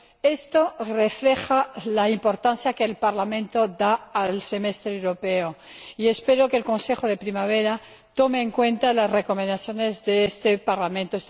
Esto refleja la importancia que el Parlamento da al Semestre Europeo, y espero que el Consejo Europeo de primavera tome en consideración las recomendaciones de este Parlamento.